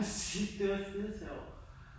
Musik det var skidesjovt